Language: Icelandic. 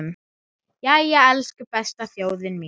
Jæja, elsku besta þjóðin mín!